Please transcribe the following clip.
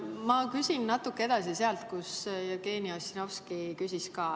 Ma küsin natuke edasi sealt, mille kohta Jevgeni Ossinovski küsis.